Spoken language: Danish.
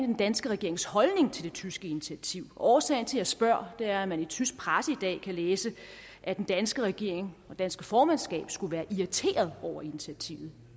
den danske regerings holdning til det tyske initiativ årsagen til at jeg spørger er at man i tysk presse i dag kan læse at den danske regering og det danske formandskab skulle være irriteret over initiativet